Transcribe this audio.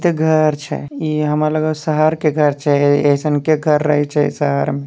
इते घर छे इ हमरा लगल शहर के घर छे ऐइसनके घर रहे छे शहर में।